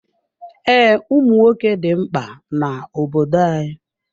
Ee, ụmụnwoke dị mkpa n'obodo anyị.